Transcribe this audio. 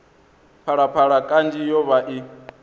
phalaphala kanzhi yo vha i